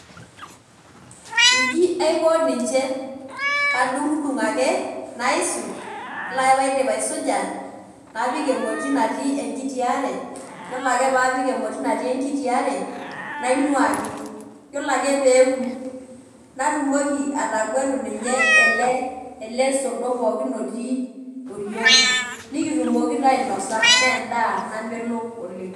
Inji aiko ninche kadung'udung' ake naisuj ore pee aidip aisuja napik emoti natii enkiti are yiolo ake pee apik emoti natii enkiti are nainuaki yiolo ake pee eoku natumoki ataguatu ninye ele sordo pookin otii oriong' nikitumoki taa ainasa naa endaa namelok oleng'.